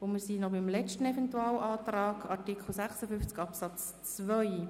Er betrifft den Artikel 56 Absatz 2.